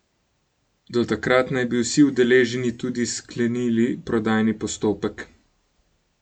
Do takrat naj bi vsi udeleženi tudi sklenili prodajni postopek.